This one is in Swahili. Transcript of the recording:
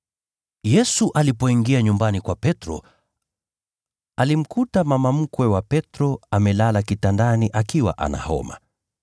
Yesu alipoingia nyumbani kwa Petro, alimkuta mama mkwe wa Petro amelala kitandani, akiwa ana homa.